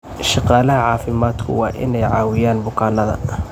Shaqaalaha caafimaadku waa inay caawiyaan bukaanada.